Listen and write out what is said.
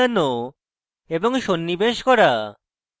এবং সন্নিবেশ করা